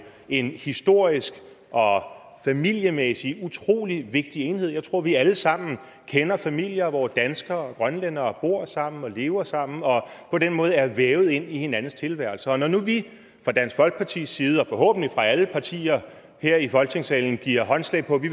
en historisk og familiemæssig utrolig vigtig enhed jeg tror vi alle sammen kender familier hvor danskere og grønlændere bor sammen og lever sammen og på den måde er vævet ind hinandens tilværelse og når nu vi fra dansk folkepartis side og forhåbentlig alle partier her i folketingssalen giver håndslag på at vi